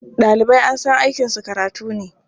Ɗalibai an san aikinsu karatu ne.